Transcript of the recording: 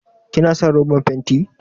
Kina son roban fenti?